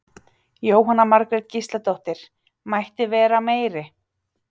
Jóhanna Margrét Gísladóttir: Mætti vera meiri?